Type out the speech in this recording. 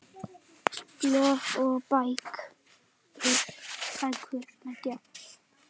Blöð og bækur